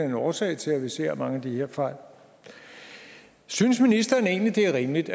en årsag til at vi ser mange af de her fejl synes ministeren egentlig det er rimeligt